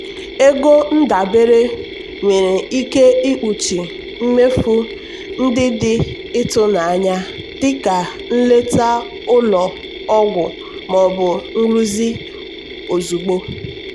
ego ndabere nwere ike ikpuchi mmefu ndị dị ịtụnanya dịka nleta ụlọ ọgwụ maọbụ nrụzi ozugbo.